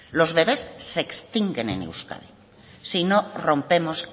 los bebes se extinguen en euskadi si no rompemos